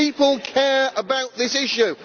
People care about this issue.